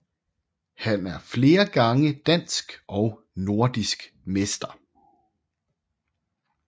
Han er flere gange dansk og nordisk mester